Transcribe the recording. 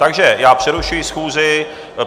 Takže já přerušuji schůzi.